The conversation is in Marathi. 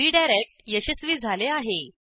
रीडायरेक्ट यशस्वी झाले आहे